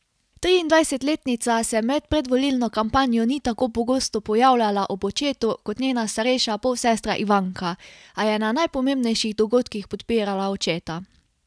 Triindvajsetletnica se med predvolilno kampanjo ni tako pogosto pojavljala ob očetu kot njena starejša polsestra Ivanka, a je na najpomembnejših dogodkih podpirala očeta.